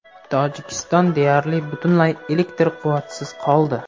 Tojikiston deyarli butunlay elektr quvvatisiz qoldi.